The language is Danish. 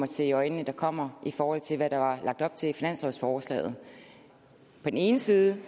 se i øjnene at der kommer i forhold til hvad der var lagt op til i finanslovsforslaget på den ene side